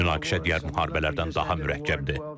Bu münaqişə digər müharibələrdən daha mürəkkəbdir.